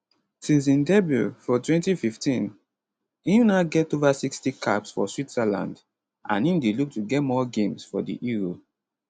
since im debut for 2015 im now get ova 60 caps for switzerland and im dey look to get more games for di euro